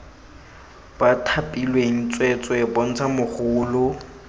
ba thapilweng tsweetswee bontsha mogolo